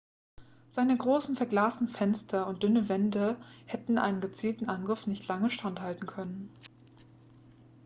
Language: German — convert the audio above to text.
seine großen verglasten fenster und dünnen wände hätten einem gezielten angriff nicht lange standhalten können